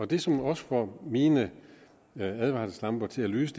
det som også får mine advarselslamper til at lyse